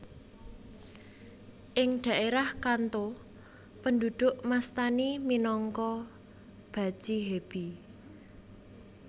Ing dhaerah Kanto penduduk mastani minangka bachihebi